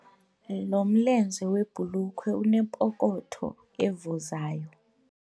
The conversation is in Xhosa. Lo mlenze webhulukhwe unepokotho evuzayo.